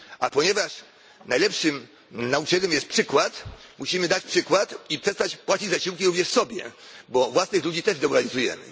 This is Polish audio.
A ponieważ najlepszym nauczycielem jest przykład, musimy dać przykład i przestać płacić zasiłki również sobie, gdyż własnych ludzi też demoralizujemy.